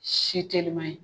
Si telima ye.